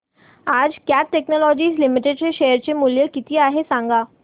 आज Cat Technologies Limited चे share चे मूल्य किती आहे सांगा